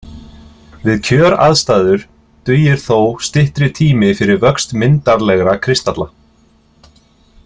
Við kjöraðstæður dugir þó styttri tími fyrir vöxt myndarlegra kristalla.